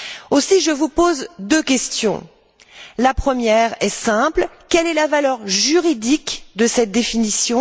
Aussi, je vous pose deux questions. La première est simple quelle est la valeur juridique de cette définition?